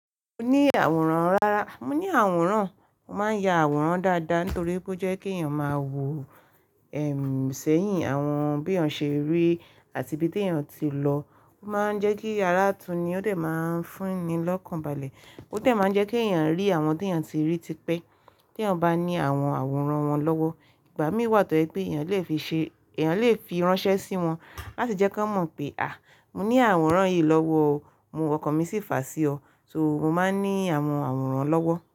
Mo ní àwòrán. Rárá, mo ní àwòrán. Mo máa ń ya àwòrán dáadáa nítorí bó jẹ́ kí èèyàn máa wo, ẹm, sẹ́yìn àwọn bí èèyàn ṣe rí àti ibi tí èèyàn ti lọ. Ó máa ń jẹ́ kí àráà tú ni ó dẹ̀ máa ń fún ni lọ́kàn balẹ̀. Ó dẹ̀ máa ń jẹ́ kí èèyàn rí àwọn tí èèyàn ti rí tipẹ́ tí èèyàn bá ní àwọn àwòrán wọn lọ́wọ́. Ìgbà mí wà tó pé èèyàn lè fi ṣe, èèyàn lè fi ránṣẹ́ sí wọn láti jẹ́ kí wọ́n mọ̀ pé, à, mo ní àwòrán yìí lọ́wọ́ o, mo ọkàn mí sí fàá sí ọ. So, mo máa ń ní àwọn àwòrán lọ́wọ́.